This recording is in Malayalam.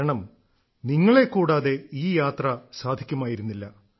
കാരണം നിങ്ങളെ കൂടാതെ ഈ യാത്ര സാധിക്കുമായിരുന്നില്ല